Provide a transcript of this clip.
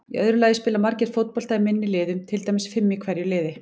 Í öðru lagi spila margir fótbolta í minni liðum, til dæmis fimm í hverju liði.